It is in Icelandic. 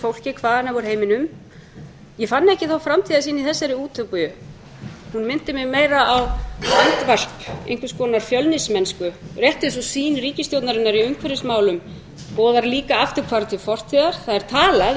fólki hvaðanæva úr heiminum ég fann ekki þá framtíðarsýn í þessari úttöku hún minnti mig meira á andvarp einhvers konar fjölnismennsku rétt eins og sýn ríkisstjórnarinnar í umhverfismálum boðar líka afturhvarf til fortíðar það er talað um hina